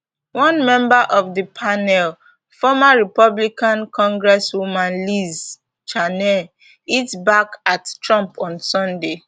one member of di panel former republican congresswoman liz cheney hit back at trump on sunday